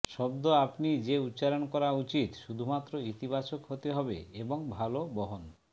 শব্দ আপনি যে উচ্চারণ করা উচিত শুধুমাত্র ইতিবাচক হতে হবে এবং ভাল বহন